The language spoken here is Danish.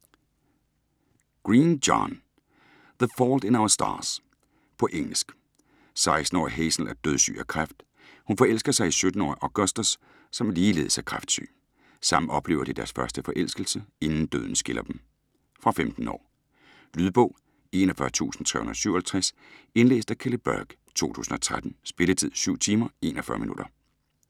Green, John: The fault in our stars På engelsk. 16-årige Hazel er dødssyg af kræft. Hun forelsker sig i 17-årige Augustus som ligeledes er kræftsyg. Sammen oplever de deres første forelskelse, inden døden skiller dem. Fra 15 år. Lydbog 41357 Indlæst af Kelly Burke, 2013. Spilletid: 7 timer, 41 minutter.